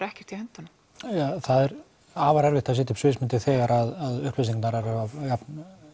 ekkert í höndunum það er afar erfitt að setja upp sviðsmynd þegar upplýsingarnar eru af jafn